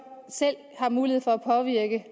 selv har mulighed for at påvirke